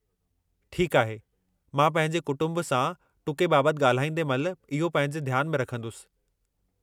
ठीकु आहे, मां पंहिंजे कुटुंब सां टुके बाबतु ॻाल्हाईंदे महिल इहो पंहिंजे ध्यान में रखंदुसि।